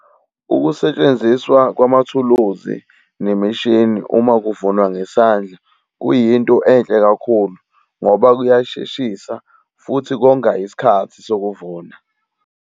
Ukusetshenziswa kwamathuluzi nemishini uma kuvunwa ngesandla, kuyinto enhle kakhulu, ngoba kuyasheshisa futhi konga isikhathi sokuvuna.